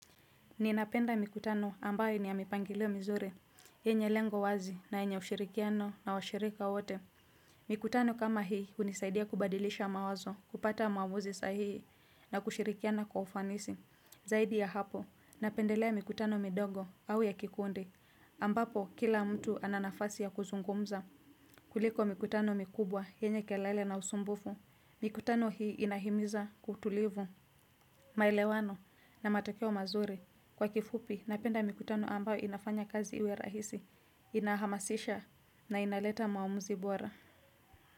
Ninapenda mikutano ambaye ni ya mipangilio mizuri, yenye lengo wazi na yenye ushirikiano na washirika wote. Mikutano kama hii unisaidia kubadilisha mawazo, kupata maamuzi sahii na kushirikiana kwa ufanisi. Zaidi ya hapo, napendelea mikutano midogo au ya kikundi. Ambapo, kila mtu ana nafasi ya kuzungumza. Kuliko mikutano mikubwa, yenye kelele na usumbufu. Mikutano hii inahimiza kutulivu, maelewano na matokeo mazuri. Kwa kifupi, napenda mikutano ambayo inafanya kazi iwe rahisi, inahamasisha na inaleta maamuzi bora.